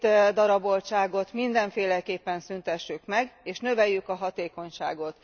szétdaraboltságot mindenféleképpen szüntessük meg, és növeljük a hatékonyságot.